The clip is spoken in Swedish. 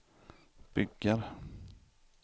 bygger